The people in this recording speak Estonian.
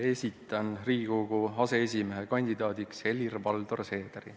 Esitan Riigikogu aseesimehe kandidaadiks Helir-Valdor Seederi.